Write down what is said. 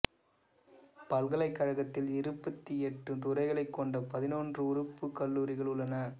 பல்கலைக்கழகத்தில் இருபத்தி எட்டு துறைகளைக் கொண்ட பதினொன்று உறுப்புக் கல்லூரிகள் உள்ளன